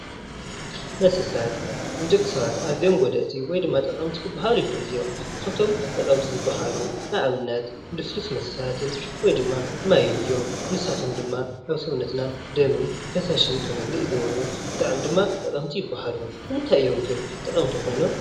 መስተታት ንደቂ ሰባት ኣዝዮም ጎዳእቲ ወይ ድማ ጠቐምት ክበሃሉ ይኽእሉ እዮም። ካብቶም ጠቐምቲ ዝብሃሉ ንኣብነት ልስሉስ መስተታትን ወይ ድማ ማይን እዮም። ንሳቶም ድማ ኣብ ሰውነትና ደምን ፈሳስን ክመልእ ይገብሩ ብጣዕሚ ድማ ጠቐምቲ ይብሃሉ። ንምንታይ እዮም ግን ጠቐምቲ ኾይኖም?